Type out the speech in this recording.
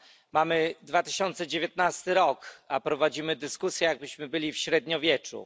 Mamy 2019 rok, a prowadzimy dyskusję, jakbyśmy byli w średniowieczu.